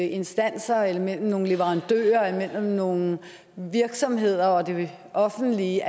instanser eller mellem nogle leverandører eller mellem nogle virksomheder og det offentlige